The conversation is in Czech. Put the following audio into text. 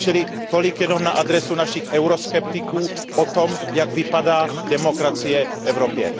Čili tolik jenom na adresu našich euroskeptiků o tom, jak vypadá demokracie v Evropě.